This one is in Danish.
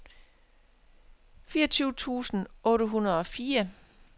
fireogtyve tusind otte hundrede og fire